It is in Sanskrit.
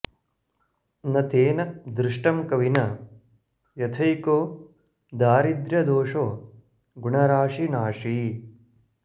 न तेन दृष्टं कविना यथैको दारिद्र्यदोषो गुणराशि नाशी